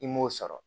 I m'o sɔrɔ